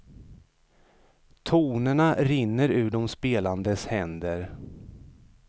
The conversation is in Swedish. Tonerna rinner ur de spelandes händer.